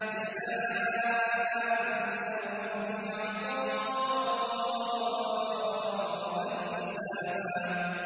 جَزَاءً مِّن رَّبِّكَ عَطَاءً حِسَابًا